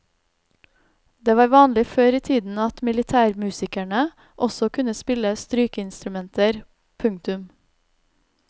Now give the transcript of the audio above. Det var vanlig før i tiden at militærmusikerne også kunne spille strykeinstrumenter. punktum